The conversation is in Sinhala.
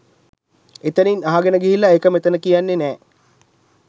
එතැනින් අහගෙන ගිහිල්ලා ඒක මෙතැන කියන්නේ නෑ